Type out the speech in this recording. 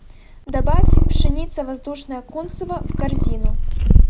добавь пшеница воздушная кунцево в корзину